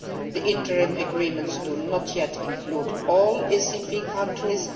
The interim agreements do not yet include all ACP countries.